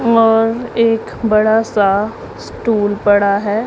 और एक बड़ा सा स्टूल पड़ा है।